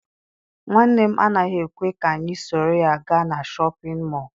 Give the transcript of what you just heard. Nwanne m anaghị ekwe ka anyị soro ya gaa na Shọpịn mọọ.